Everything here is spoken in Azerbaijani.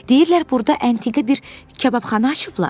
Deyirlər burda əntiqə bir kababxana açıblar.